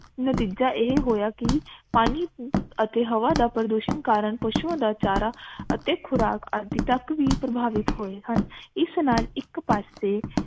ਨਤੀਜਾ ਇਹ ਹੋਇਆ ਕਿ ਪਾਣੀ ਅਤੇ ਹਵਾ ਦਾ ਪ੍ਰਦੂਸ਼ਨ ਕਾਰਨ ਪਸ਼ੂਆਂ ਦਾ ਚਾਰਾ ਅਤੇ ਖੁਰਾਕ ਅਜ ਤਕ ਵੀ ਪ੍ਰਭਾਵਿਤ ਹੋਏ ਹਨ ਇਸ ਨਾਲ ਇਕ ਪਾਸੇ